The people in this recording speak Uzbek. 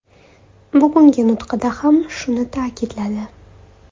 Bugungi nutqida ham shuni ta’kidladi.